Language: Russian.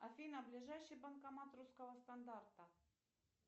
афина ближайший банкомат русского стандарта